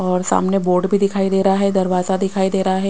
और सामने बोर्ड भी दिखाई दे रहा है दरवाजा दिखाई दे रहा है।